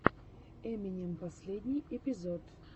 эминем последний эпизод